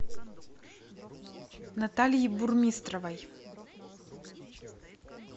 натальи бурмистровой